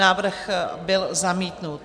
Návrh byl zamítnut.